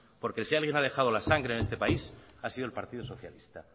porque si alguien se ha dejado la sangre en este país ha sido el partido socialista